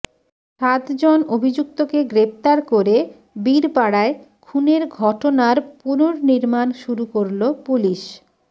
সাতজন অভিযুক্তকে গ্রেফতার করে বীরপাড়ায় খুনের ঘটনার পুননির্মাণ শুরু করল পুলিশ